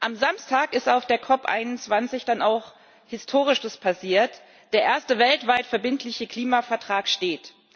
Am Samstag ist auf der COP 21 dann auch Historisches passiert Der erste weltweit verbindliche Klimavertrag steht.